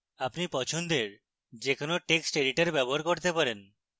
আপনি পছন্দের যে কোনো text editor ব্যবহার করতে পারেন